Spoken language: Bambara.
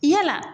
Yala